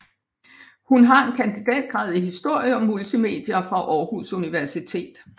Hun har en kandidatgrad i historie og multimedier fra Århus Universitet